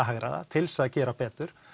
hagræða til þess að gera betur